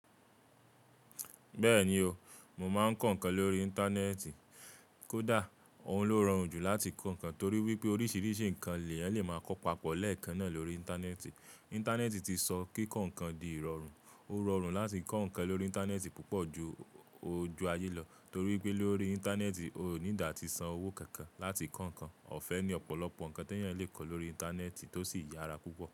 Bẹ́ẹ̀ni o, mo máa ń kọ́ nǹkan lórí Íńtánẹ́ẹ̀tì. Kódà òhun ló rọrùn jù láti kọ́ nǹkan torí wípé oríṣiríṣi nǹkan lẹ́ eeyan le maa kọ papọ̀ lẹ́ẹ̀kan náà lórí Íńtánẹ́ẹ̀tì. Íńtánẹ́ẹ̀tì ti sọ kíkọ́ nǹkan di ìrọ̀rùn. O rọrùn láti kọ́ nǹkan lórí Íńtánẹ́ẹ̀tì púpọ̀ ju ojú ayé lọ torí ípé lórí Íńtánẹ́ẹ̀tì o need àti san owó kankan láti kọ́ nǹkan. Ọ̀fẹ́ ni ọ̀pọ̀lọpọ̀ nǹkan te èèyàn lè kọ lórí Íńtánẹ́ẹ̀tì tó sì yára púpọ̀